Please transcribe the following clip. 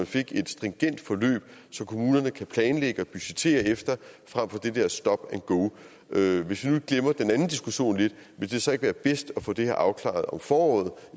fik et stringent forløb som kommunerne kan planlægge og budgettere efter fremfor det der stop and go hvis vi nu glemmer den anden diskussion lidt vil det så ikke være bedst at få det her afklaret om foråret